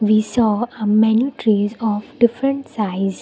we saw a many trees of different size.